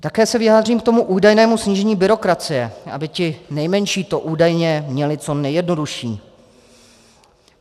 Také se vyjádřím k tomu údajnému snížení byrokracie, aby ti nejmenší to údajně měli co nejjednodušší.